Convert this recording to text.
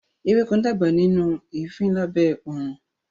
Ewéko ń dàgbà nínú eefin lábẹ́ oòrùn